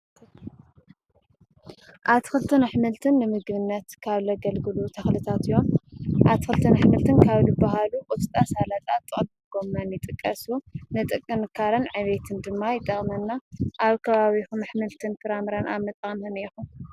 ኣቲ ኲልተን ኣኅምልትን ንምግብነት ካብ ለገልግሉ ተኽልታትዮም ኣቲዂልተን ኣሕምልትን ካብሉ ብሃሉ ቊስጣ፣ ሠላጣ ፣ጠቅሊል ጐመን ይጥቀሱ ንጥቅ ንጥካረን ዕቤትን ድማ ይጠቕመና ኣብ ከባዊኹም ኣኅምልትን ፍራምራን ኣጠቃቅማኩም ከመይኢሉም?